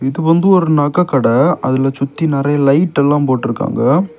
இது வந்து ஒரு நகக்கட அதுல சுத்தி நறைய லைட் எல்லா போட்டுருக்காங்க.